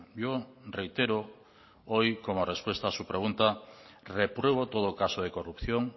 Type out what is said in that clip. yo reitero hoy como respuesta a su pregunta repruebo todo caso de corrupción